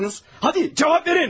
Hadi, cavab verin!